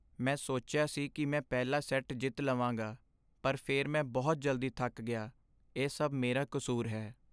ਮੈਂ ਸੋਚਿਆ ਸੀ ਕਿ ਮੈਂ ਪਹਿਲਾ ਸੈੱਟ ਜਿੱਤ ਲਵਾਂਗਾ, ਪਰ ਫਿਰ ਮੈਂ ਬਹੁਤ ਜਲਦੀ ਥੱਕ ਗਿਆ। ਇਹ ਸਭ ਮੇਰਾ ਕਸੂਰ ਹੈ।